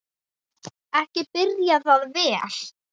Ekki byrjaði það vel!